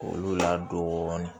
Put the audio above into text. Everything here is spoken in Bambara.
Olu la dɔɔnin